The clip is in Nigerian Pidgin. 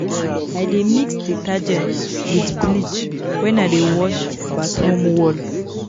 I dey mix detergent wit bleach wen I dey wash bathroom wall.